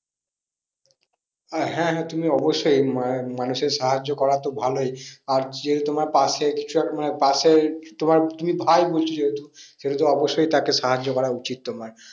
আহ হ্যাঁ তুমি অবশ্যই মানুষের সাহায্য করা তো ভালোই। আর যেহেতু তোমার পাশে মানে পাশের তোমার তুমি ভাই বলছো যেহেতু, সেহেতু অবশ্যই তাকে সাহায্য করা উচিত তোমার।